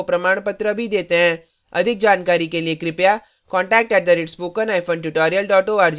अधिक जानकारी के लिए contact @spokentutorial org पर लिखें